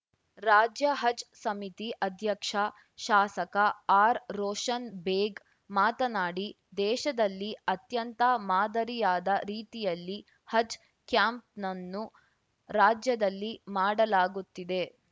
ರಾಜ್ಯ ಹಜ್‌ ಸಮಿತಿ ಅಧ್ಯಕ್ಷ ಶಾಸಕ ಆರ್‌ರೋಶನ್‌ ಬೇಗ್‌ ಮಾತನಾಡಿದೇಶದಲ್ಲಿ ಅತ್ಯಂತ ಮಾದರಿಯಾದ ರೀತಿಯಲ್ಲಿ ಹಜ್‌ ಕ್ಯಾಂಪ್‌ನನ್ನು ರಾಜ್ಯದಲ್ಲಿ ಮಾಡಲಾಗುತ್ತಿದೆ